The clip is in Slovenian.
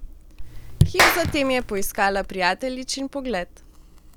Hip zatem je poiskala prijateljičin pogled.